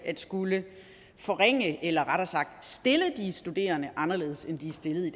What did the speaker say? at skulle forringe noget eller rettere sagt stille de studerende anderledes end de er stillet i